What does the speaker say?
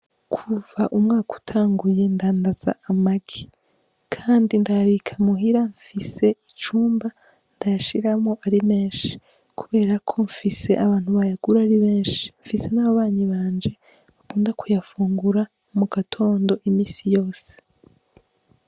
Kuva umwaka utanguye ndadaza amagi kandi ndayabika muhira, mfise icumba ndayashiramwo ari menshi kubera ko mfise abantu bayagura ari benshi. Mfise n'ababanyi banje bakunda kuyafungura mu gatondo, imisi yose.